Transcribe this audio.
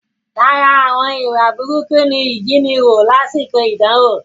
Lára àwọn ìwà burúkú ni ìjíniwò lásìkò idanwo